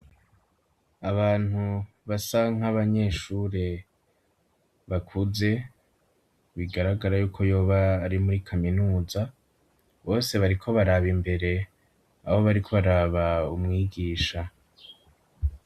Abantu basanka abanyeshure bakuze bigaragara yuko yoba ari muri kaminuza bose bariko baraba imbere abo bariko baraba umwigisha.